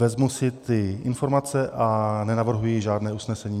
Vezmu si ty informace a nenavrhuji žádné usnesení.